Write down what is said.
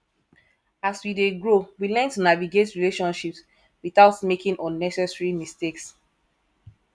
as we dey grow we learn to navigate relationships without making unnecessary mistakes